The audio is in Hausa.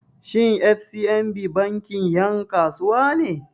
Shin FCMB bankin 'yan kasuwa ne?